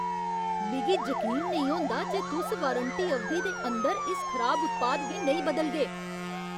मिगी जकीन नेईं होंदा जे तुस वारंटी अवधि दे अंदर इस खराब उत्पाद गी नेईं बदलगे।